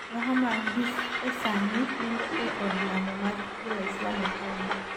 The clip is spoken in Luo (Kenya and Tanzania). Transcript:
Muhammad gi e sani nindo e od lamo mar jo waislam e paw no